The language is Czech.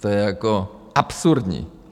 To je jako absurdní.